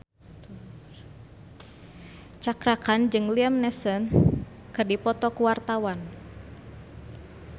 Cakra Khan jeung Liam Neeson keur dipoto ku wartawan